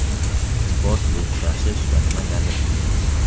Sport bu kurashish va nimagadir intilish.